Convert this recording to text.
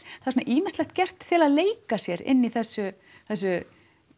svona ýmislegt gert til þess að leika sér inn í þessu þessu